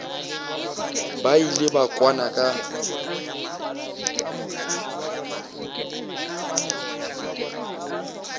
ba ile ba kwana ka